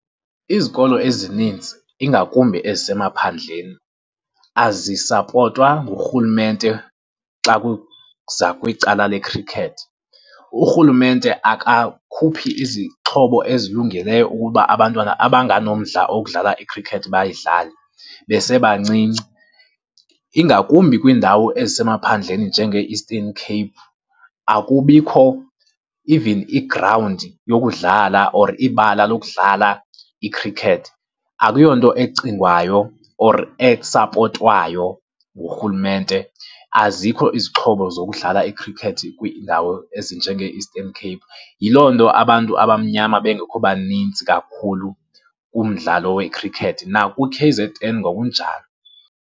Izikolo ezininzi ingakumbi ezisemaphandleni azisapotwa ngurhulumente xa kuza kwicala lekhrikhethi. Urhulumente akakhuphi izixhobo ezilungeleyo ukuba abantwana abanganomdla wokudlala ikhrikhethi bayidlale besebancinci. Ingakumbi kwiindawo ezisemaphandleni njengee-Eastern Cape akubikho even igrawundi yokudlala or ibala lokudlala ikhrikhethi, akuyonto ecingwayo or esapotwayo ngurhulumente. Azikho izixhobo zokudlala ikhrikhethi kwiindawo ezinjengee-Eastern Cape, yiloo nto abantu abamnyama bengekho baninzi kakhulu kumdlalo wekhrikhethi, nakwi-K_Z_N ngokunjalo.